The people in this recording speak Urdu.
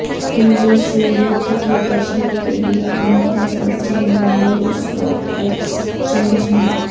ٹی وی شو یدھ کی تشہیر کے لیے امیتابھ بچن بمبئی اسٹاک ایکسچینج میں